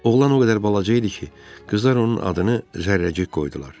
Oğlan o qədər balaca idi ki, qızlar onun adını Zərrəcik qoydular.